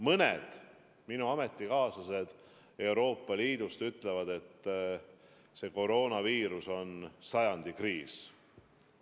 Mõned minu ametikaaslased Euroopa Liidust ütlevad, et koroonaviiruse kriis on sajandi kriis.